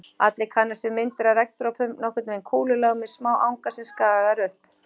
Allir kannast við myndir af regndropum, nokkurn veginn kúlulaga með smá anga sem skagar upp.